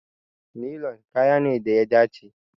Nilon kaya ne da ya dace.